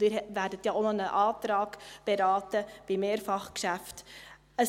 Sie werden ja auch noch einen Antrag zu Mehrfachgeschäften beraten.